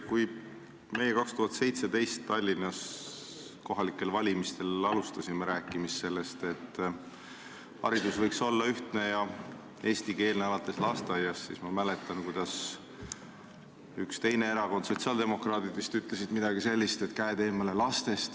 Kui meie 2017. aastal Tallinnas kohalikel valimistel alustasime rääkimist sellest, et haridus võiks olla ühtne ja eestikeelne alates lasteaiast, siis ma mäletan, kuidas üks teine erakond, sotsiaaldemokraadid vist, ütles midagi sellist, et käed eemale lastest.